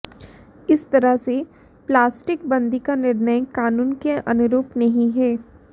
इस तरह से प्लास्टिक बंदी का निर्णय कानून के अनुरूप नहीं है